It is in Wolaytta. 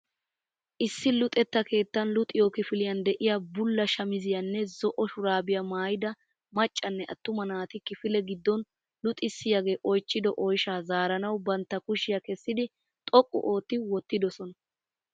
Issi luxetta keettaan luxiyo kifiliyaan de'iya bulla shamizziyaanne zo'o shuraabiya maayida maccanne attuma naati kifile gidon luxcissiyaagee oychchido oyshshaa zaaranawu bantta kushshiya kesdidi xoqqu ootti wottidoaona.